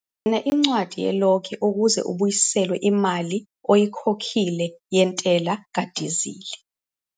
Gcina incwadi yelogi ukuze ubuyiselwe imali oyikhokhile yentela kadizili